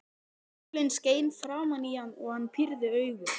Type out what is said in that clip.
Sólin skein framan í hann og hann pírði augun.